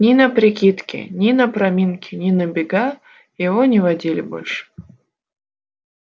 ни на прикидки ни на проминки ни на бега его не водили больше